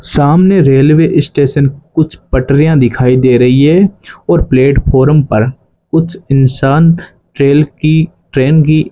सामने railway station कुछ पटरिया दिखाई दे रही है और प्लेटफार्म पर कुछ इंसान रेल की ट्रेन की --